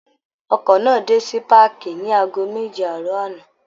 Ọkọ̀ náà dé sí páàkì ní aago méje àárọ̀ àná